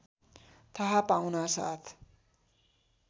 थाहा पाउनासाथ